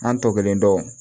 An tɔ kelen dɔn